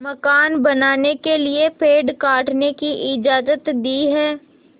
मकान बनाने के लिए पेड़ काटने की इजाज़त दी है